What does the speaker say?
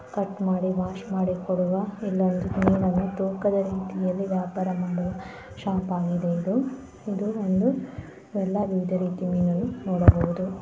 Cut ಮಾಡಿ wash ಮಾಡಿ ಕೊಡುವ ಎಲ್ಲಾ ಕ್ಲೀನ್ಆಗಿದ್ದು ತೂಕದ ರೀತಿಯಲ್ಲಿ ವ್ಯಾಪಾರ ಮಾಡುವ ಶೋಪಿ ಯಾಗಿದೆ ಇದು ಇಲ್ಲಿ ವಿವಿಧ ರೀತಿಯ ಫಿಶಗಳನ್ನು ನೋಡಬಹುದು.